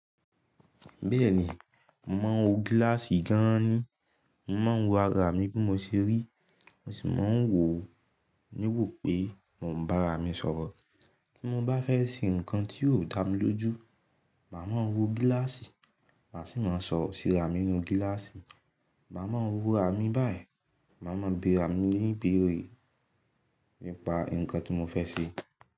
Bẹ́ẹ̀ni, mo màá ń wo gíláàsì gan an ni. Mo màá ń wo ara mi bí mo ṣe rí, mo sì máa ń wo níwò pé mo ń bá ara mi sọ̀rọ̀. Bí mo bá fẹ́ ṣe ǹkan tí yóò dá mi lójú, màá mo wo gíláàsì, màá sì máa sọ̀rọ̀ sí ara mi nínú gíláàsì. Màá máa ń wo ara mi báyìí, màá máa bé ara mi níbire nípa nǹkan tí mo fẹ́ ṣe.